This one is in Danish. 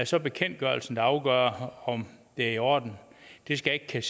så bekendtgørelsen der afgør om det er i orden det skal jeg